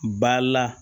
Ba la